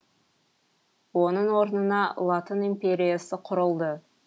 оның орнына латын империясы құрылды